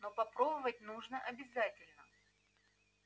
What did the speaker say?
но попробовать нужно обязательно